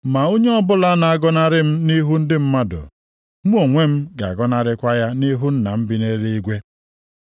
Ma onye ọbụla na-agọnarị m nʼihu ndị mmadụ, mụ onwe m ga-agọnarịkwa ya nʼihu Nna m bi nʼeluigwe.